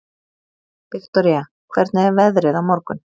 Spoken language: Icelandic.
Viktoria, hvernig er veðrið á morgun?